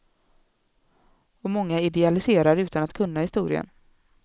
Och många idealiserar utan att kunna historien.